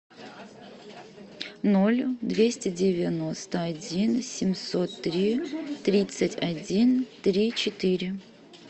ноль двести девяносто один семьсот три тридцать один три четыре